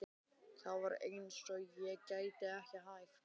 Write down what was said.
Það var eins og ég gæti ekki hætt.